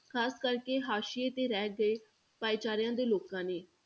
ਖ਼ਾਸ ਕਰਕੇ ਹਾਸ਼ੀਏ ਤੇ ਰਹਿ ਗਏ ਭਾਈਚਾਰਿਆਂ ਦੇ ਲੋਕਾਂ ਲਈ।